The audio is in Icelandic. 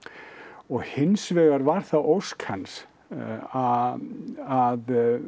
og hins vegar þá var það ósk hans að að